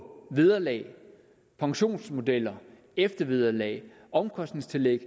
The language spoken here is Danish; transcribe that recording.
vederlag pensionsmodeller eftervederlag omkostningstillæg